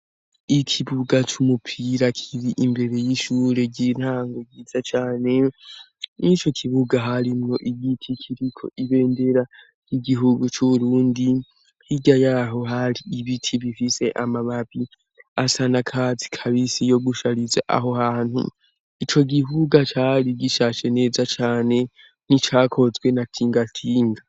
Ikibuga c'umupira kiri imbere y'ishure ry'intango ryiza cane n'i co kibuga harimwo igiti kiriko ibendera igihugu c'urundi hirya yaho hari ibiti bifise amababi asa nakazi kabisi yo gushariza aho hantu ico gihugaca ari gishashe neza cane n'icakozwe na tingatinga.